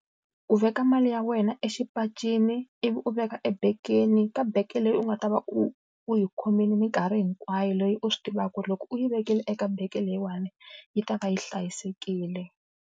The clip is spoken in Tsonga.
Ku veka mali ya wena exipacini, ivi u veka ebegeni, ka bege leyi u nga ta va u u yi khomile minkarhi hinkwayo. Leyi u swi tivaka ku ri loko u yi vekile eka bege leyiwani, yi ta va yi hlayisekile.